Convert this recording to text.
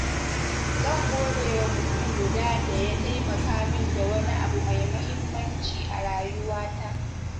Zan gode wa mutum guda da ya taimaka min da wani abu mai muhimmanci a rayuwata.